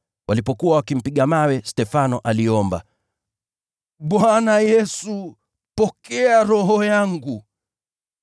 Walipokuwa wakimpiga mawe, Stefano aliomba, “Bwana Yesu, pokea roho yangu.”